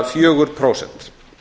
fjögur prósent